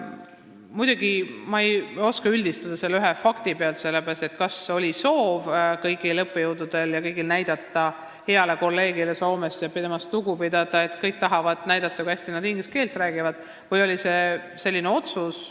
Muidugi ei oska ma selle ühe fakti pealt üldistada, ma ei tea, kas kõigil oli soov näidata heale kolleegile Soomest, kuidas temast lugu peetakse, või seda, kui hästi kõik inglise keelt räägivad.